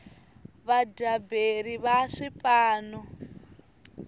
vadyaberi va swipano